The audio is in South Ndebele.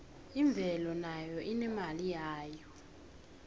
imvelo nayo inemali yayo